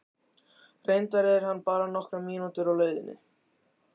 Reyndar er hann bara nokkrar mínútur á leiðinni.